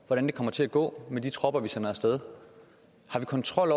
hvordan det kommer til at gå med de tropper vi sender af sted har vi kontrol